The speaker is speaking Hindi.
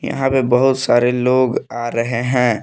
यहां पे बहुत सारे लोग आ रहे हैं।